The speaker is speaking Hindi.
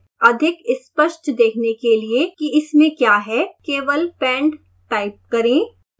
अधिक स्पष्ट देखने के लिए कि इसमें क्या है केवल pend टाइप करें